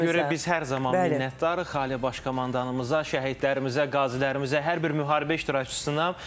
Bu görüntüə görə biz hər zaman minnətdarıq Ali Baş Komandanımıza, şəhidlərimizə, qazilərimizə, hər bir müharibə iştirakçısına.